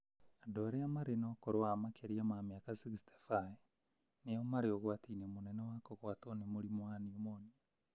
Andũ arĩa marĩ na ũkũrũ wa makĩria ma mĩaka 65 nĩo marĩ ũgwati-inĩ mũnene wa kũgwatwo nĩ mũrimũ wa nimonia